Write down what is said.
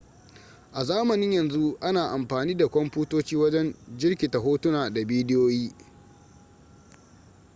a zamanin yanzu ana amfani da kwamfutoci wajen jirkita hotuna da bidiyoyi